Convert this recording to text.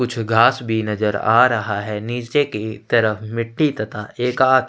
कुछ घास भी नजर आ रहा है नीचे की तरफ मिट्टी तथा एक तरफ--